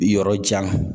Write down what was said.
Yɔrɔ jan